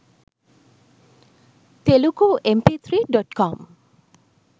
telugu mp3.com